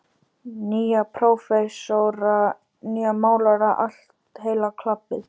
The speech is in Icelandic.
Nýja prófessora, nýja málara, allt heila klabbið.